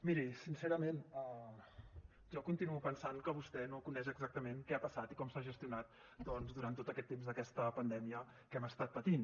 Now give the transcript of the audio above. miri sincerament jo continuo pensant que vostè no coneix exactament què ha passat i com s’ha gestionat doncs durant tot aquest temps aquesta pandèmia que hem estat patint